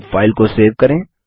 अब फाइल को सेव करें